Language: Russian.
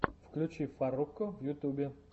включи фарруко в ютюбе